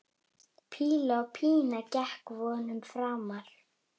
Píla Pína gekk vonum framar.